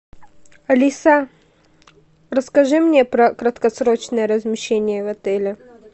алиса расскажи мне про краткосрочные размещения в отеле